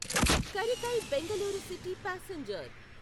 Karaikal Bengaluru city passenger